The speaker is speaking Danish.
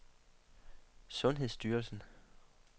sundhedsstyrelsen